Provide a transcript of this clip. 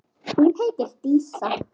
Hún heitir Dísa.